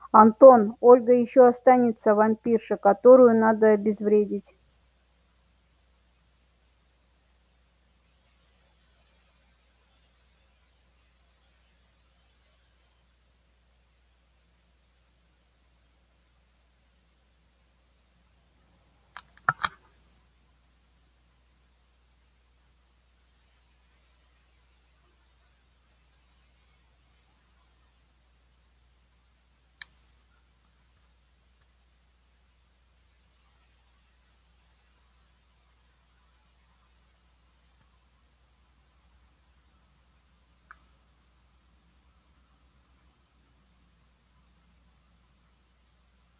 антон ольга ещё останется вампирша которую надо обезвредить